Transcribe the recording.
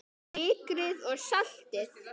Sykrið og saltið.